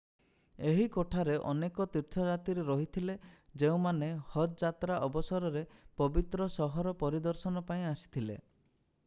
ଏହି କୋଠାରେ ଅନେକ ତୀର୍ଥଯାତ୍ରୀ ରହିଥିଲେ ଯେଉଁମାନେ ହଜ୍ ଯାତ୍ରା ଅବସରରେ ପବିତ୍ର ସହର ପରିଦର୍ଶନ ପାଇଁ ଆସିଥିଲେ